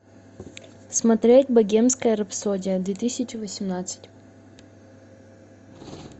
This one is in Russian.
смотреть богемская рапсодия две тысячи восемнадцать